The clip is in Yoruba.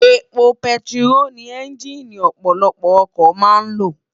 Épó pètiró ni ènjiní òpòlòpò òkò má n ló